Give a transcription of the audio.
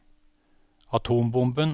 atombomben